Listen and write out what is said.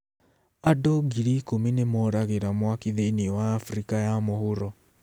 Andũ ngiri ikũmi nĩ moragĩra mwaki thĩinĩ wa Afrika ya Mũhuro